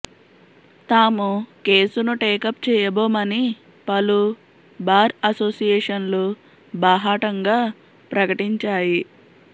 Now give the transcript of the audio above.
తాము కేసును టేకప్ చేయబోమని పలు బార్ అసోసియేషన్లు బాహాటంగా ప్రకటించాయి